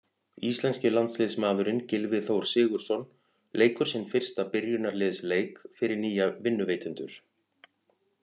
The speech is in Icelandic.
Íslenski landsliðsmaðurinn Gylfi Þór Sigurðsson leikur sinn fyrsta byrjunarliðsleik fyrir nýja vinnuveitendur.